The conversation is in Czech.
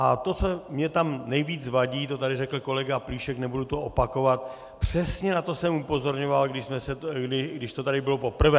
A to, co mě tam nejvíc vadí, to tady řekl kolega Plíšek, nebudu to opakovat, přesně na to jsem upozorňoval, když to tady bylo poprvé.